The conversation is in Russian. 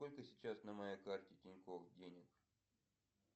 сколько сейчас на моей карте тинькофф денег